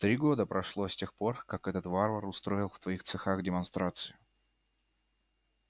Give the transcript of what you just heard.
три года прошло с тех пор как этот варвар устроил в твоих цехах демонстрацию